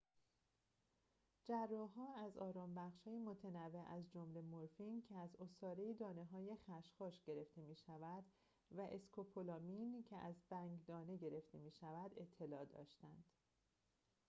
جراح‌ها از آرام‌بخش‌های متنوع از جمله مرفین که از عصاره دانه‌های خشخاش گرفته می‌شود و اسکوپولامین که از بنگ‌دانه گرفته می‌شود اطلاع داشتند